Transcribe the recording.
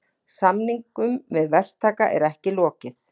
Samningum við verktaka er ekki lokið